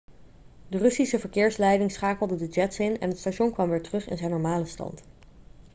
de russische verkeersleiding schakelde de jets in en het station kwam weer terug in zijn normale stand